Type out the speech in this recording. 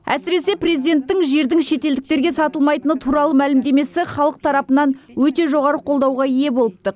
әсіресе президенттің жердің шетелдіктерге сатылмайтыны туралы мәлімдемесі халық тарапынан өте жоғары қолдауға ие болыпты